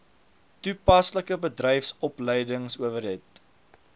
toe paslike bedryfsopleidingsowerheid